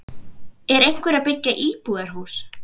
Er einhver að byggja íbúðarhús?